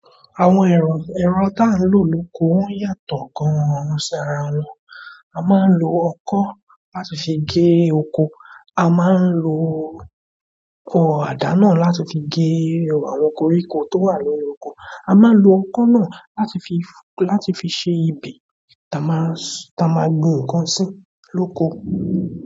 Àwọn èrò erọ̀ tá ń lò lóko woń yàtọ̀ gan-an ṣára wọn. A máa ń lo ọkọ́ láti fi gé oko, a máa ń lo ọkọ̀ àdáná láti fi gé àwọn koríko tó wà nínú oko, a máa ń lo ọkọ́ náà láti fi, láti fi ṣe ibe tá máa, tá máa gbin nǹkan sí lóko.